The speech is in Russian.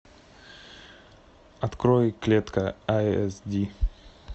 открой клетка ай эс ди